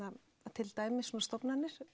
til dæmis stofnanir